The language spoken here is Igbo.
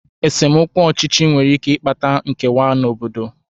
Esemokwu ọchịchị nwere ike ịkpata nkewa n'obodo.